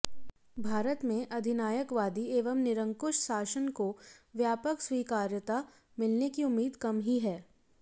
भारत में अधिनायकवादी एवं निरंकुश शासन को व्यापक स्वीकार्यता मिलने की उम्मीद कम ही है